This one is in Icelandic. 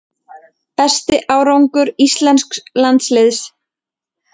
Besti árangur íslensks landsliðs